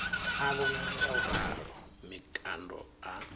a vhonala ngauralo mikando a